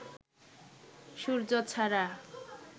সূর্য ছাড়া